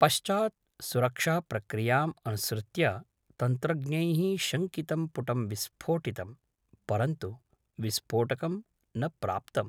पश्चात् सुरक्षाप्रक्रियाम् अनुसृत्य तन्त्रज्ञैः शङ्कितं पुटं विस्फोटितं, परन्तु विस्फोटकं न प्राप्तम्।